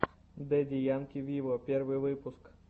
дэдди янки виво первый выпуск